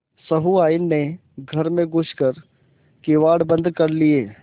सहुआइन ने घर में घुस कर किवाड़ बंद कर लिये